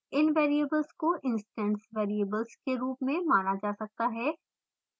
इन variables को instance variables के रूप में माना जा सकता है